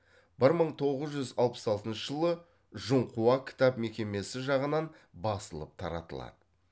бір мың тоғыз жүз алпыс алтыншы жылы жұңхуа кітап мекемесі жағынан басылып таратылады